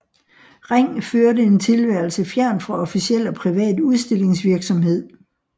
Ring førte en tilværelse fjernt fra officiel og privat udstillingsvirksomhed